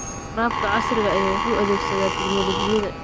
Waraabka casriga ahi waxa uu adeegsadaa tignoolajiyada.